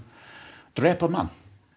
drepur mann